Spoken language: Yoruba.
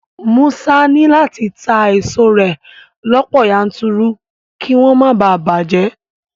Musa ní láti ta èso rẹ̀ lọ́pọ̀ yanturu kí wọ́n má bàa bàjẹ́